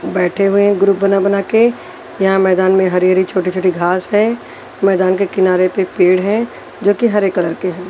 बैठे हुए हैं ग्रुप बना बना के यहाँ मैदान में हरी-हरी छोटी-छोटी घास है मैदान के किनारे पे पेड़ हैं जो कि हरे कलर के हैं।